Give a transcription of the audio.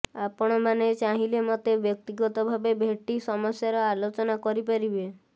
ଆପଣମାନେ ଚାହିଁଲେ ମୋତେ ବ୍ୟକ୍ତିଗତ ଭାବେ ଭେଟି ସମସ୍ୟାର ଆଲୋଚନା କରିପାରିବେ